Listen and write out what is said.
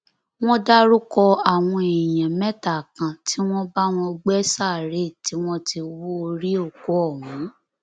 wọn dárúkọ àwọn èèyàn mẹta kan tí wọn bá wọn gbé sáréè tí wọn ti hú orí òkú ọhún